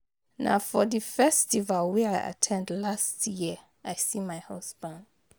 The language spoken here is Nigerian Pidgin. Na for the festival wey I at ten d last year I see my husband